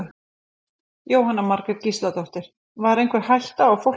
Jóhanna Margrét Gísladóttir: Var einhver hætta á fólki?